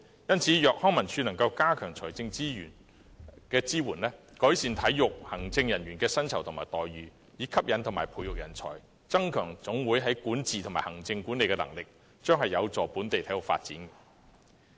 因此，康文署如能加強財政支援，改善體育行政人員的薪酬和待遇，以吸引和培育人才，增強總會的管治及行政管理能力，將有助本地體育發展。